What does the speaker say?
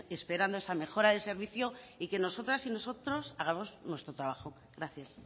esperando esa mejora del servicio y que nosotras y nosotros hagamos nuestro trabajo gracias